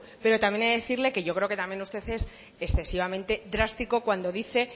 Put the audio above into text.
pero también he de decirle que yo creo que también usted es excesivamente drástico cuando dice